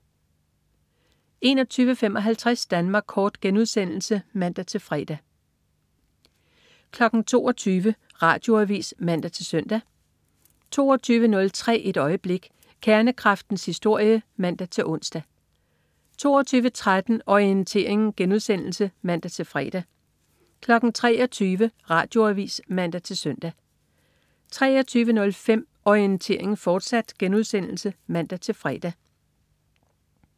21.55 Danmark Kort* (man-fre) 22.00 Radioavis (man-søn) 22.03 Et øjeblik. Kernekraftens historie (man-ons) 22.13 Orientering* (man-fre) 23.00 Radioavis (man-søn) 23.05 Orientering, fortsat* (man-fre)